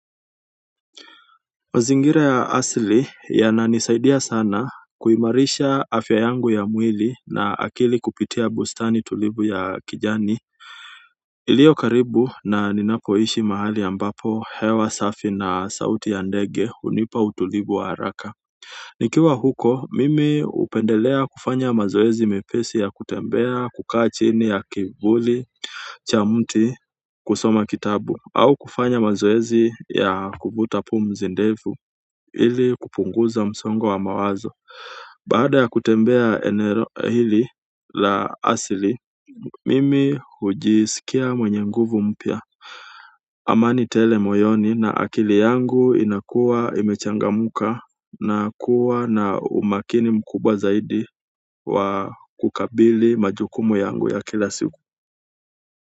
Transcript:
Mazingira ya asili yananisaidia sana kuimarisha afya yangu ya mwili na akili kupitia bustani tulivu ya kijani ilio karibu na ninapoishi mahali ya ambapo hewa safi na sauti ya ndege hunipa utulivu wa haraka nikiwa huko mimi hupendelea kufanya mazoezi mepesi ya kutembea, kukaa chini ya kivuli cha mti kusoma kitabu au kufanya mazoezi ya kuvuta pumzi ndefu ili kupunguza msongo wa wa mawazo baada ya kutembea eneo hili la asili mimi hujisikia mwenye nguvu mpya amani tele moyoni na akili yangu inakuwa imechangamka na kuwa na umakini mkubwa zaidi wa kukabili majukumu yangu ya kila siku.